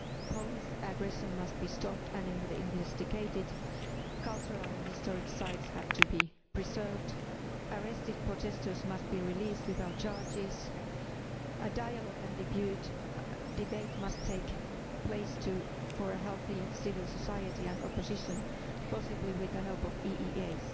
Police aggression must be stopped and investigated, cultural and historic sites have to be preserved, arrested protestors must be released without charges, a dialogue and debate must take place for a healthy civil society and opposition, possibly with the help of the EEAS.